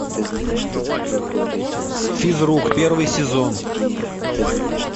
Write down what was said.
физрук первый сезон